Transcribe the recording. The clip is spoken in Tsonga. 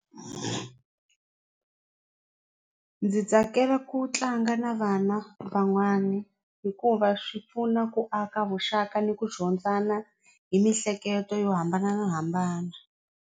Ndzi tsakela ku tlanga na vana van'wani hikuva swi pfuna ku aka vuxaka ni ku dyondzana hi miehleketo yo hambanahambana.